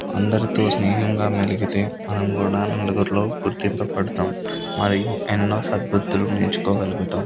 అందరితో సెహ్నంఘ మయిలిగితే మనం కూడా ముందుకి గుర్తుపు పడటం ఎన్నో సర్గుర్తులు నేర్పుకో గొలుగుతాము.